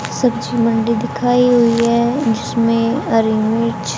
सब्जी मंडी दिखाई हुई है इसमें हरी मिर्च--